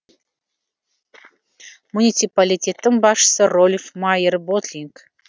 муниципалитеттің басшысы рольф майер ботлинг